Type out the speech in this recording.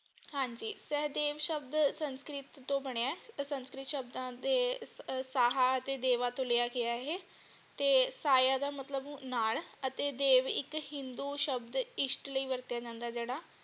ਹਾਂਜੀ ਸੇਹਦੇਵ ਸ਼ਬਦ ਸੰਸਕ੍ਰਿਤ ਤੋਂ ਬਣਿਆ ਅਤੇ ਸੰਸਕ੍ਰਿਤ ਸ਼ਬਦਾਂ ਦੇ ਸਾਹ ਤੇ ਦੇਵਾ ਤੋਂ ਲਿਆ ਗਿਆ ਹੈ ਇਹ ਤੇ ਸਾਇਆ ਦਾ ਮਤਲਬ ਨਾਲ ਅਤੇ ਦੇਵ ਇਕ ਹਿੰਦੂ ਸ਼ਬਦ ਇਸ਼ਟ ਲਈ ਵਰਤਿਆ ਜਾਂਦਾ ਜਿਹੜਾ।